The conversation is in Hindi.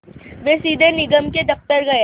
वे सीधे निगम के दफ़्तर गए